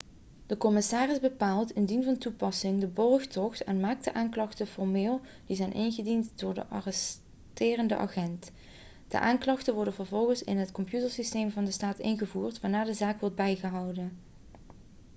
de commissaris bepaalt indien van toepassing de borgtocht en maakt de aanklachten formeel die zijn ingediend door de arresterende agent de aanklachten worden vervolgens in het computersysteem van de staat ingevoerd waarna de zaak wordt bijgehouden